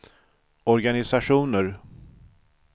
organisationer